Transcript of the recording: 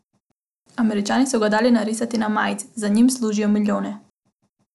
Američani so ga dali narisati na majice, z njim služijo milijone.